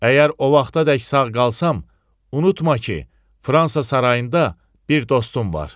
Əgər o vaxtadək sağ qalsam, unutma ki, Fransa sarayında bir dostum var.